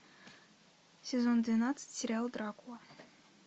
сезон двенадцать сериал дракула